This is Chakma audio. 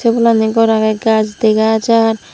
obolandi gor agey gaj dega jar.